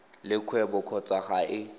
le kgwebo kgotsa ga e